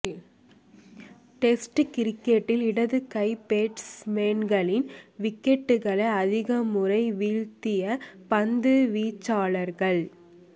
test கிரிக்கெட்டில் இடது கை பேட்ஸ்மேன்களின் விக்கெட்டுகளை அதிகமுறை வீழ்த்திய பந்துவீச்சாளர்கள்